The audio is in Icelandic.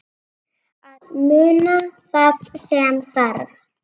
Að muna það sem þarf